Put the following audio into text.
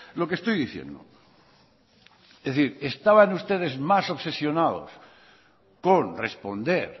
lo que estoy diciendo es decir estaban ustedes más obsesionados con responder